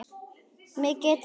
Mig geturðu varið.